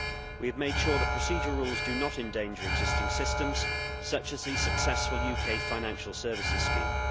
We have made sure that procedural rules do not endanger existing systems, such as the successful UK Financial Services Scheme.